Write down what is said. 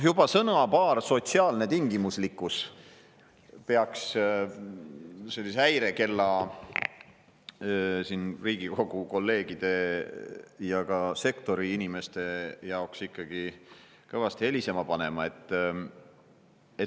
Juba sõnapaar "sotsiaalne tingimuslikkus" peaks sellise häirekella Riigikogu kolleegide ja ka sektori inimeste jaoks ikkagi kõvasti helisema panema.